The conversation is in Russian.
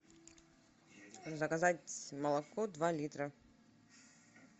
заказать молоко два литра